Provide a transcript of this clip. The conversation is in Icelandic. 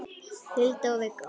Hulda og Viggó.